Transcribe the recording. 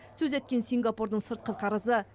сөз еткен сингапурдың сыртқы қарызы